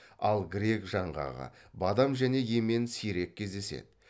ал грек жаңғағы бадам және емен сирек кездеседі